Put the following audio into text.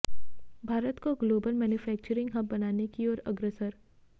भारत को global manufacturing hub बनाने की ओर अग्रसर